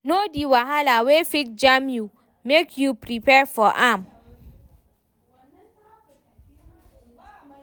Know di wahala wey fit jam you, make you prepare for am